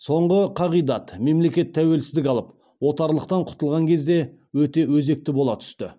соңғы қағидат мемлекеттер тәуелсіздік алып отарлықтан құтылған кезде өте өзекті бола түсті